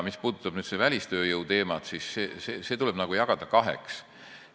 Mis puudutab välistööjõuteemat, siis see tuleb jagada kaheks.